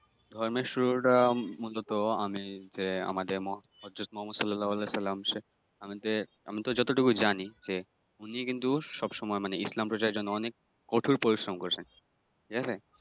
ধর্মের শুরুটা মূলত আমি যে আমাদের হযরত মোহাম্মাদ সাল্লেল্লাহ আলাহি-সাল্লাম আমাদের আমি যতটুকু জানি যে উনি কিন্তু সব সময় মানে ইসলাম প্রচার নিয়ে অনেক কঠোর পরিশ্রম করেছেন ঠিক আছে ।